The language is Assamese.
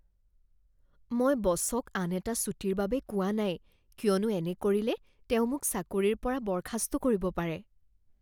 মই বচক আন এটা ছুটীৰ বাবে কোৱা নাই। কিয়নো এনে কৰিলে তেওঁ মোক চাকৰিৰ পৰা বৰ্খাস্ত কৰিব পাৰে।